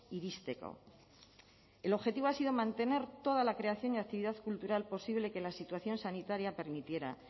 iristeko el objetivo ha sido mantener toda la creación y actividad cultural posible que la situación sanitaria permitiera